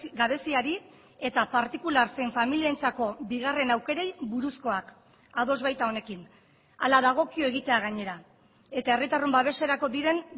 gabeziari eta partikular zein familientzako bigarren aukerei buruzkoak ados baita honekin hala dagokio egitea gainera eta herritarron babeserako diren